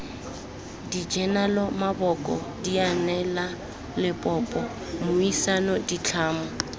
dijenale maboko dianelalebopo mmuisano ditlhamo